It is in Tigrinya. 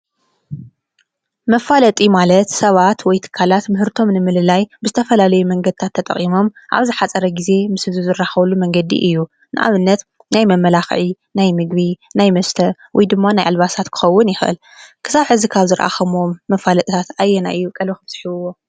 መፋለጢ ማለት ሰባት ወይ ትካላት ምህርቶም ንምልላይ ብዝተፈላለይ መንገድታት ተጠቒሞም ኣብ ዛሓፀረ ጊዜ ምስ ህዝቢ ዝራኸብሉ መንገዲ እዩ። ንኣብነት ናይ መመላኽዒ፣ ናይ ምግቢ፣ ናይ መስተ ወይ ድማ ናይ ኣልባሳት ክኸውን ይኸእል። ክሳብ ሕዚ ካብ ዝረአኸሞዎም መፋለጥታት ኣየናይ እዩ ቀልብኵም ስሒብዎ?